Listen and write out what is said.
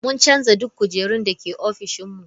Mun canza duk kujerun da ke ofishin mu.